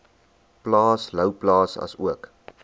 plaas louwplaas asook